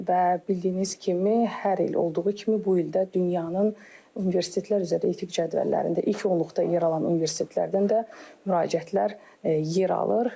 və bildiyiniz kimi hər il olduğu kimi bu il də dünyanın universitetlər üzrə etik cədvəllərində ilk onluqda yer alan universitetlərdən də müraciətlər yer alır.